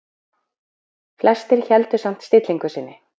Flestir héldu samt stillingu sinni.